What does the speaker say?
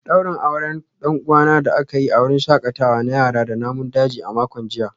Daurin auren dan uwana da aka yi a wurin shakatawa na yara da namun daji a makon jiya